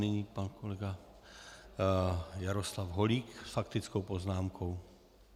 Nyní pan kolega Jaroslav Holík s faktickou poznámkou.